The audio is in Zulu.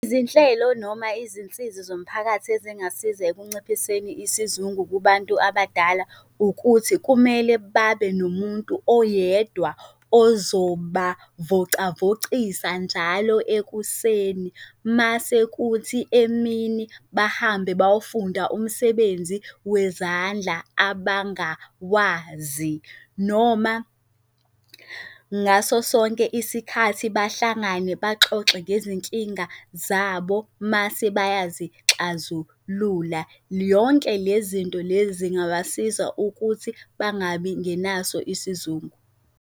Izinhlelo noma izinsizi zomphakathi ezingasiza ekunciphiseni isizungu kubantu abadala ukuthi kumele babe nomuntu oyedwa ozobavocavocisa njalo ekuseni, masekuthi emini bahambe bayofunda umsebenzi wezandla abangawazi, noma ngaso sonke isikhathi bahlangane baxoxe ngezinkinga zabo mase bayazixazulula. Yonke le zinto le zingabasiza ukuthi bangabi ngenaso isizungu.